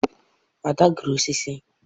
ade gụrụ osisi